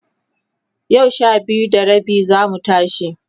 yau Sha biyu da rabi zamu tashi